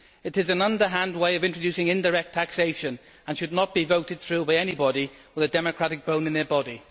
It is an underhand way of introducing indirect taxation and should not be voted through by anybody with a democratic bone in their body.